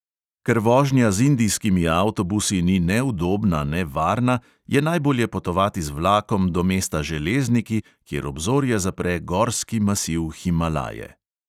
Ker vožnja z indijskimi avtobusi ni ne udobna ne varna, je najbolje potovati z vlakom do mesta železniki, kjer obzorje zapre gorski masiv himalaje.